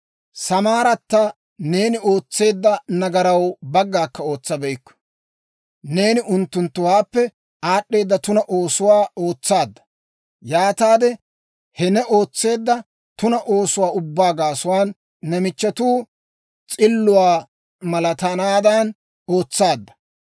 «‹ «Samaaratta neeni ootseedda nagaraw baggaakka ootsabeykku; neeni unttunttuwaappe aad'd'eeda tuna oosotuwaa ootsaadda. Yaataade he ne ootseedda tuna oosotuwaa ubbaa gaasuwaan, ne michchetuu s'illuwaa malatanaadan ootsaadda.